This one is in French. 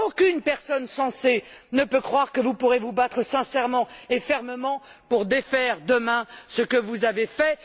Aucune personne censée ne peut croire que vous pourrez vous battre sincèrement et fermement pour défaire demain ce que vous avez fait.